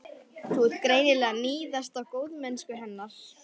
Þú ert greinilega að níðast á góðmennsku hennar.